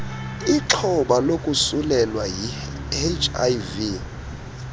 lixhoba lokosulelwa yiihiv